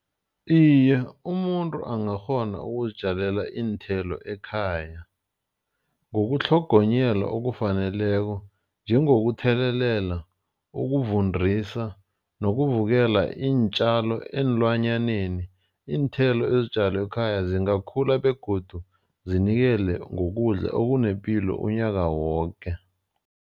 Iye, umuntu angakghona ukuzitjalela iinthelo ekhaya. Ngokutlhogonyelwa okufaneleko njengokuthelelela, ukuvundisa nokuvikela iintjalo eenlwanyaneni. Iinthelo ezitjalwe ekhaya zingakhula begodu zinikele ngokudla okunepilo unyaka woke.